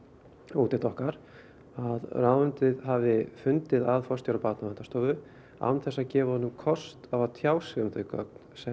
úttekt okkar að ráðuneytið hafi fundið að forstjóra Barnaverndarstofu án þess að gefa honum kost á að tjá sig um þau gögn sem